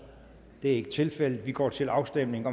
det er ikke tilfældet og vi går til afstemning